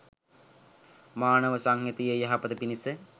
මානව සංහතියේ යහපත පිණිස